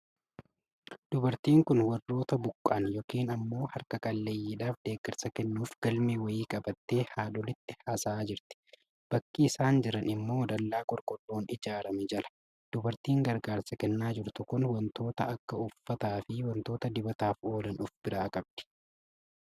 Dubartiin kun warroota buqqa'an yookiin ammoo harka qalleeyyidhaaf deegarsa kennuuf galmee wayii qabattee haadholiitti haasa'aa jirti. Bakki isaan jiran ammoo dallaa qorqorroon ijaarame jala. Dubartiin gargaarsa kennaa jirtu kun wantoota akka uffataa fi wantoota dibataaf oolan of biraa qabdi.